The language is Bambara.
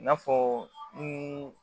I n'a fɔ ni